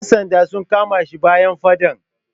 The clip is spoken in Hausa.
Yan sanda sun kama shi bayan faɗan.